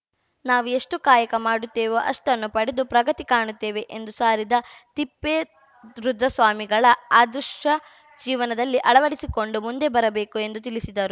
ನಾವು ಎಷ್ಟುಕಾಯಕ ಮಾಡುತ್ತೇವೋ ಅಷ್ಟನ್ನು ಪಡೆದು ಪ್ರಗತಿ ಕಾಣುತ್ತೇವೆ ಎಂದು ಸಾರಿದ ತಿಪ್ಪೇರುದ್ರಸ್ವಾಮಿಗಳ ಆದರ್ಶ ಜೀವನದಲ್ಲಿ ಅಳವಡಿಸಿಕೊಂಡು ಮುಂದೆ ಬರಬೇಕು ಎಂದು ತಿಳಿಸಿದರು